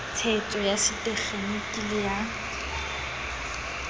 tshetso ya setekgeniki le ya